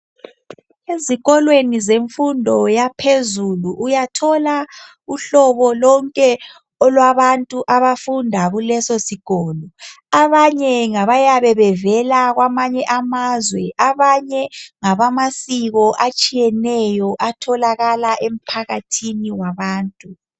Ezikolweni zemfundo yaphezulu uyathola uhlobo lonke olwabantu abafunda kulesosikolo. Abanye ngabayabe bevela kwamanye amazwe, abanye ngabamasiko atshiyeneyo atholakala emphakathini wabantu.